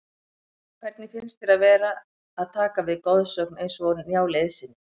Hvernig finnst þér að vera að taka við af goðsögn eins og Njáli Eiðssyni?